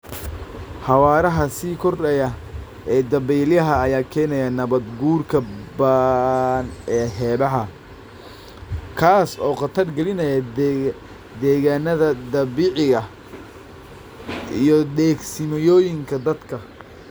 Xawaaraha sii kordhaya ee dabaylaha ayaa keenaya nabaad guurka ba'an ee xeebaha, kaas oo khatar gelinaya degaannada dabiiciga ah iyo degsiimooyinka dadka.